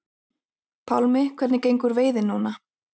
Pálmi: Hvernig gengur veiðin núna?